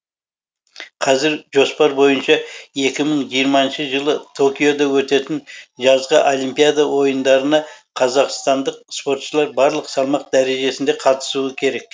қазір жоспар бойынша екі мың жиырмасыншы жылы токиода өтетін жазғы олимпиада ойындарына қазақстандық спортшылар барлық салмақ дәрежесінде қатысуы керек